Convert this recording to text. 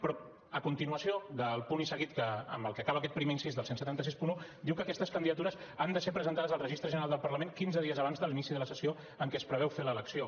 però a continuació del punt i seguit amb el que acaba aquest primer incís del disset seixanta u diu que aquestes candidatures han de ser presentades al registre general del parlament quinze dies abans de l’inici de la sessió en què es preveu fer l’elecció